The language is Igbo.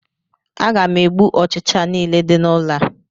Aga m egbu ọchịcha nile di n'ụlọ a